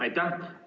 Aitäh!